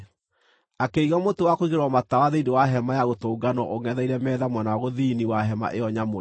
Akĩiga mũtĩ wa kũigĩrĩrwo matawa thĩinĩ wa Hema-ya-Gũtũnganwo ũngʼetheire metha mwena wa gũthini wa hema ĩyo nyamũre,